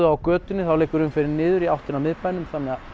á götunni þá liggur umferðin niður í átt að miðbænum